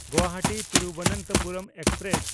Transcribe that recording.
ᱜᱩᱣᱟᱦᱟᱴᱤ–ᱛᱤᱨᱩᱵᱚᱱᱛᱚᱯᱩᱨᱚᱢ express